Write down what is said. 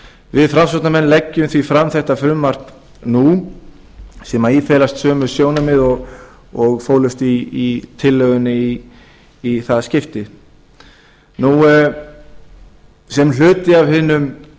við framsóknarmenn leggjum því fram þetta frumvarp nú sem í felast sömu sjónarmið og í fólust í tillögunni í það skiptið sem hluti af hinum